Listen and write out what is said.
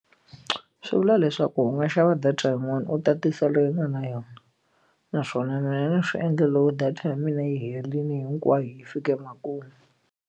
Swi vula leswaku u nga xava data yin'wana u tatisa leyi u nga na yona naswona na yena swi endla loko data ya mina yi herile hinkwayo yi fike emakumu.